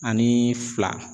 Ani fila